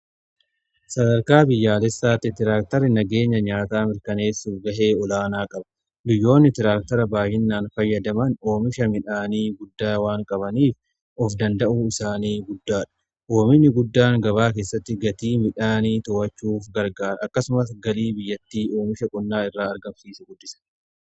Sadarkaa biyyaalessaatti tiraakterri nageenya nyaataa mirkaneessuuf ga'ee olaanaa qaba. Biyyoonni tiraaktera baay'inaan fayyadaman oomisha midhaanii guddaa waan qabaniif of danda'uun isaanii guddaa dha. Oomishni guddaan gabaa keessatti gatii midhaanii to'achuuf gargaara. Akkasumas galii biyyattii oomisha qonnaa irraa argamsiisan guddisa.